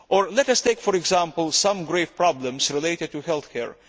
Let us take, for example, some grave problems relating to health care.